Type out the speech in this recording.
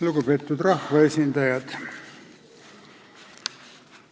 Lugupeetud rahvaesindajad!